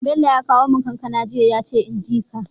Bello ya kawo mun kankAna jiya yace inji ka